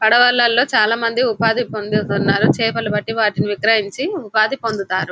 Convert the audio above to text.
పడవలలో చాలా మంది ఉపాధి పొందుతున్నారు చేపలు పట్టి వాటిని విక్రయించి ఉపాధి పొందుతారు --